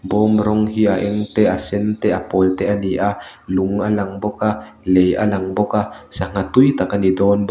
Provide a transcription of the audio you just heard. bawm rawng hi a eng te a sen te a pawl te a ni a lung a lang bawk a lei a lang bawk a sangha tui tak a ni dawn bawk.